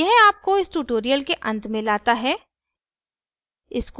यह आपको इस ट्यूटोरियल के अंत में लाता है